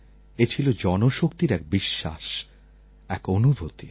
এ ছিল জনশক্তির এক বিশ্বাস এক অনুভূতি